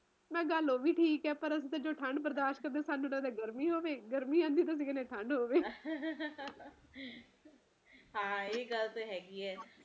ਮੈਂ ਕਿਹਾ ਗੱਲ ਉਹ ਵੀ ਠੀਕ ਐ ਪਰ ਅਸੀਂ ਜਦੋ ਠੰਡ ਬਰਦਾਸ਼ਤ ਕਰਦੇ ਆ ਸਾਨੂੰ ਲੱਗੇ ਗਰਮੀ ਹੋਵੇ ਗਰਮੀ ਆਉਂਦੀ ਆ ਸਾਨੂੰ ਲੱਗੇ ਠੰਡ ਹੋਵੇ ਹਾ ਇਹ ਗੱਲ ਤੇ ਹੇਗੀ ਐ